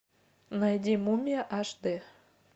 найди мумия аш д